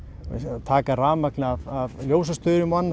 taka rafmagn af ljósastaurum og annað